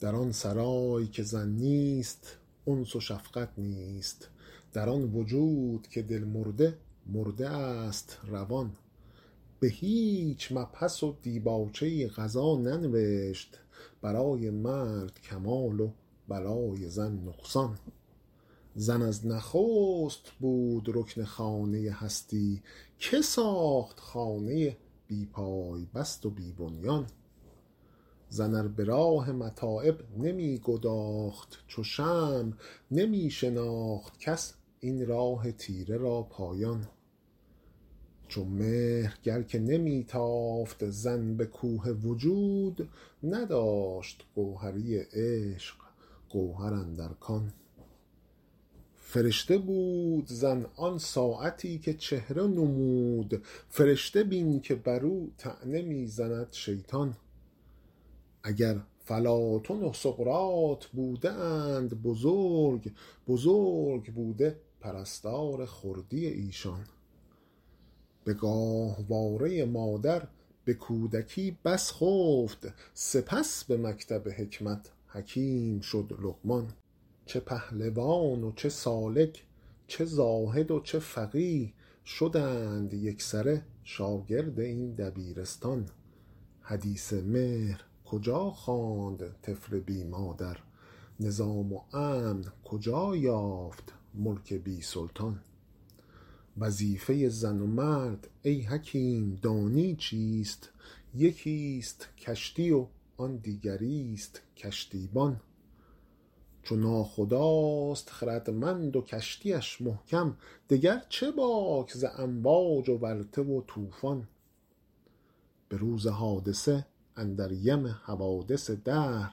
در آن سرای که زن نیست انس و شفقت نیست در آن وجود که دل مرده مرده است روان بهیچ مبحث و دیباچه ای قضا ننوشت برای مرد کمال و برای زن نقصان زن از نخست بود رکن خانه هستی که ساخت خانه بی پای بست و بی بنیان زن ار براه متاعب نمیگداخت چو شمع نمیشناخت کس این راه تیره را پایان چو مهر گر که نمیتافت زن بکوه وجود نداشت گوهری عشق گوهر اندر کان فرشته بود زن آن ساعتی که چهره نمود فرشته بین که برو طعنه میزند شیطان اگر فلاطن و سقراط بوده اند بزرگ بزرگ بوده پرستار خردی ایشان بگاهواره مادر بکودکی بس خفت سپس بمکتب حکمت حکیم شد لقمان چه پهلوان و چه سالک چه زاهد و چه فقیه شدند یکسره شاگرد این دبیرستان حدیث مهر کجا خواند طفل بی مادر نظام و امن کجا یافت ملک بی سلطان وظیفه زن و مرد ای حکیم دانی چیست یکیست کشتی و آن دیگریست کشتیبان چو ناخداست خردمند و کشتیش محکم دگر چه باک ز امواج و ورطه و طوفان بروز حادثه اندر یم حوادث دهر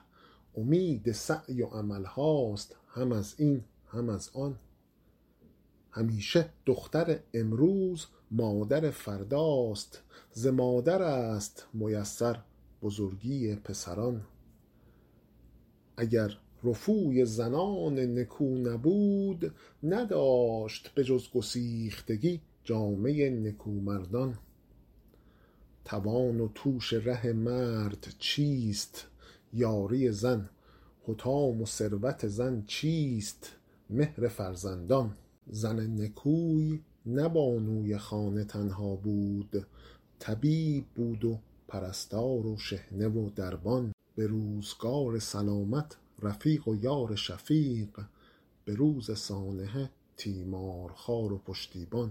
امید سعی و عملهاست هم ازین هم ازان همیشه دختر امروز مادر فرداست ز مادرست میسر بزرگی پسران اگر رفوی زنان نکو نبود نداشت بجز گسیختگی جامه نکو مردان توان و توش ره مرد چیست یاری زن حطام و ثروت زن چیست مهر فرزندان زن نکوی نه بانوی خانه تنها بود طبیب بود و پرستار و شحنه و دربان بروزگار سلامت رفیق و یار شفیق بروز سانحه تیمارخوار و پشتیبان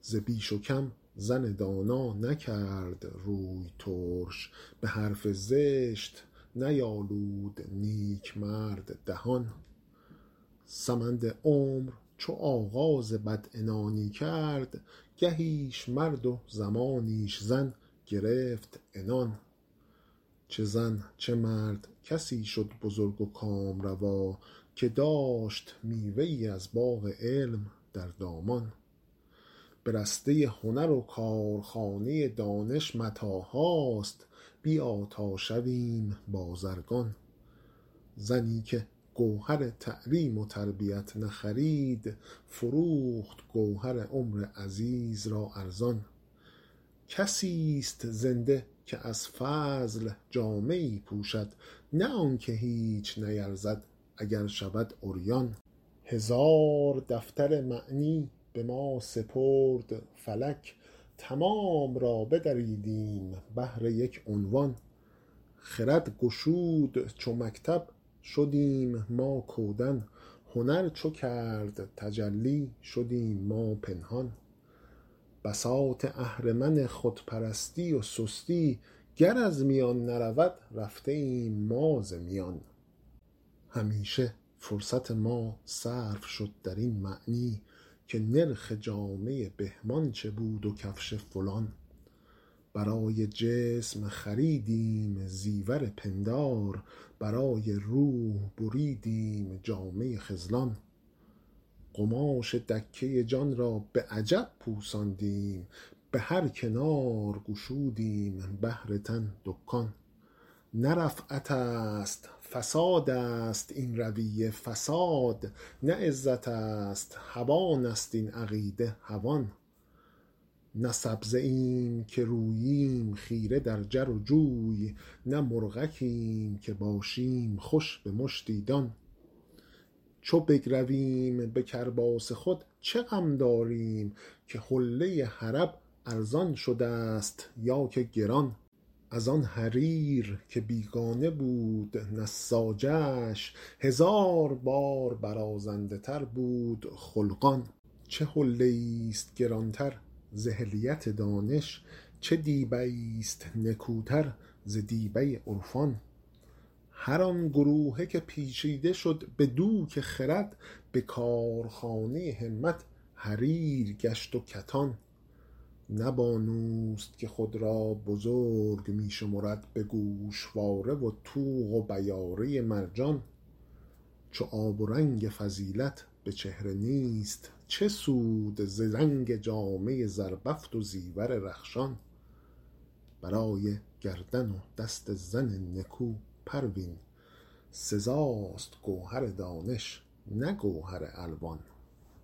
ز بیش و کم زن دانا نکرد روی ترش بحرف زشت نیالود نیکمرد دهان سمند عمر چو آغاز بدعنانی کرد گهیش مرد و زمانیش زن گرفت عنان چه زن چه مرد کسی شد بزرگ و کامروا که داشت میوه ای از باغ علم در دامان به رسته هنر و کارخانه دانش متاعهاست بیا تا شویم بازرگان زنی که گوهر تعلیم و تربیت نخرید فروخت گوهر عمر عزیز را ارزان کسیست زنده که از فضل جامه ای پوشد نه آنکه هیچ نیرزد اگر شود عریان هزار دفتر معنی بما سپرد فلک تمام را بدریدیم بهر یک عنوان خرد گشود چو مکتب شدیم ما کودن هنر چو کرد تجلی شدیم ما پنهان بساط اهرمن خودپرستی و سستی گر از میان نرود رفته ایم ما ز میان همیشه فرصت ما صرف شد درین معنی که نرخ جامه بهمان چه بود و کفش فلان برای جسم خریدیم زیور پندار برای روح بریدیم جامه خذلان قماش دکه جان را بعجب پوساندیم بهر کنار گشودیم بهر تن دکان نه رفعتست فساد است این رویه فساد نه عزتست هوانست این عقیده هوان نه سبزه ایم که روییم خیره در جر و جوی نه مرغکیم که باشیم خوش بمشتی دان چو بگرویم به کرباس خود چه غم داریم که حله حلب ارزان شدست یا که گران از آن حریر که بیگانه بود نساجش هزار بار برازنده تر بود خلقان چه حلیه ایست گرانتر ز حلیت دانش چه دیبه ایست نکوتر ز دیبه عرفان هر آن گروهه که پیچیده شد بدوک خرد به کارخانه همت حریر گشت و کتان نه بانوست که خود را بزرگ میشمرد بگوشواره و طوق و بیاره مرجان چو آب و رنگ فضیلت بچهره نیست چه سود ز رنگ جامه زربفت و زیور رخشان برای گردن و دست زن نکو پروین سزاست گوهر دانش نه گوهر الوان